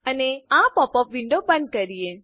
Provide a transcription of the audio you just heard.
અને આ pop up window બંધ કરીએ